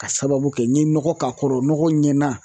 K'a sababu kɛ n ye nɔgɔ k'a kɔrɔ nɔgɔ ɲɛna